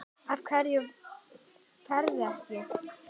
Af hverju ferðu ekki?